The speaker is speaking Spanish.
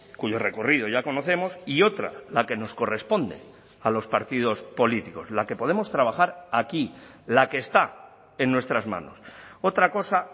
cuyo recorrido ya conocemos y otra la que nos corresponde a los partidos políticos la que podemos trabajar aquí la que está en nuestras manos otra cosa